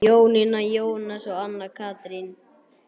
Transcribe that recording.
Jónína, Jónas og Anna Katrín.